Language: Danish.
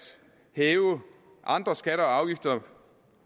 hæve andre skatter og afgifter